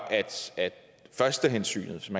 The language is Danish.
at førstehensynet som